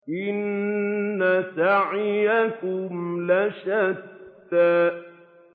إِنَّ سَعْيَكُمْ لَشَتَّىٰ